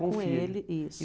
com ele, isso.